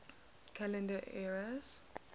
calendar eras